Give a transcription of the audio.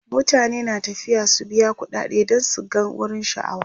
mutane na tafiya su biya ƙuɗade dan su gan wurin sha'awa